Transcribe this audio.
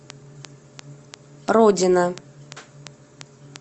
родина